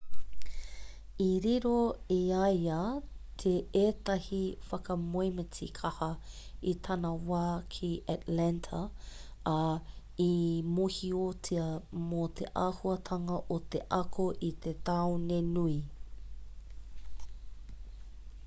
i riro i a ia teētahi whakamoemiti kaha i tana wā ki atlanta ā i mōhiotia mō te auahatanga o te ako i te taone nui